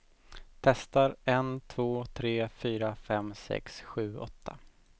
Testar en två tre fyra fem sex sju åtta.